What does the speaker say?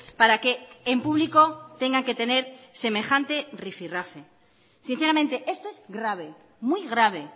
para que en público tengan que tener semejante rifirrafe sinceramente esto es grave muy grave